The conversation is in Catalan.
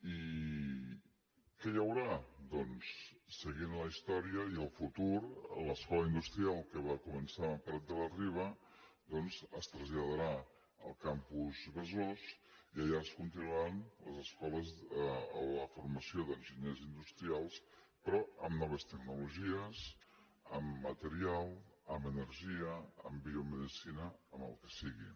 i què hi haurà doncs seguint la història i el futur l’escola industrial que va començar amb prat de la riba doncs es traslladarà al campus besòs i allà es continuaran les escoles la formació d’enginyers industrials però amb noves tecnologies amb material amb energia amb biomedicina amb el que sigui